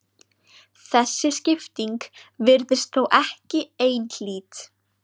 Þessi skipting virðist þó ekki einhlít.